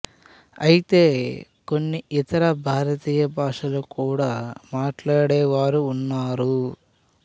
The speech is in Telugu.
అయితే కొన్ని ఇతర భారతీయ భాషలు కూడా మాట్లాడేవారు ఉన్నారు